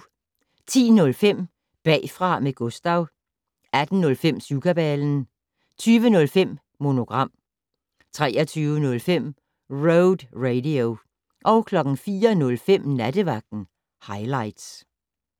10:05: Bagfra med Gustav 18:05: Syvkabalen 20:05: Monogram 23:05: Road Radio 04:05: Nattevagten Highligts